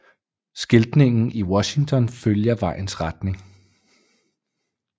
Skiltningen i Washington følger vejens retning